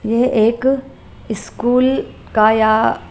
ये एक स्कूल का या।